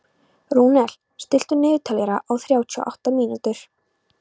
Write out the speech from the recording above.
Rúnel, stilltu niðurteljara á þrjátíu og átta mínútur.